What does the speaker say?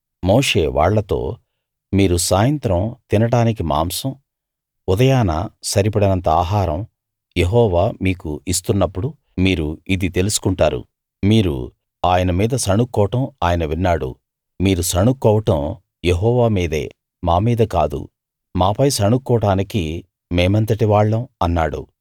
మోషే వాళ్ళతో మీరు సాయంత్రం తినడానికి మాంసం ఉదయాన సరిపడినంత ఆహారం యెహోవా మీకు ఇస్తున్నప్పుడు మీరు ఇది తెలుసుకుంటారు మీరు ఆయన మీద సణుక్కోవడం ఆయన విన్నాడు మీరు సణుక్కోవడం యెహోవా మీదే మా మీద కాదు మాపై సణుక్కోవడానికి మేమెంతటివాళ్ళం అన్నాడు